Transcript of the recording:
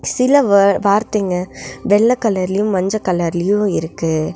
சில வே வார்த்தைங்க வெள்ள கலர்லயு மஞ்ச கலர்லயு இருக்கு.